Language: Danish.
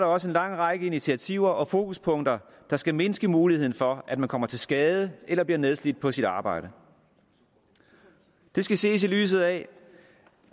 også en lang række initiativer og fokuspunkter der skal mindske muligheden for at man kommer til skade eller bliver nedslidt på sit arbejde det skal ses i lyset af